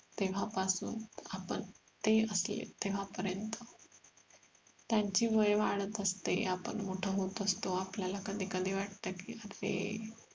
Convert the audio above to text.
तेव्हा पासून आपण ते असले तेव्हा पर्यंत त्यांचे वय वाढत असते आपण मोठं होत असतो आपल्याला कधी कधी वाटत कि अरे